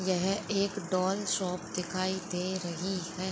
ये है एक डॉल शॉप दिखाई दे रही है।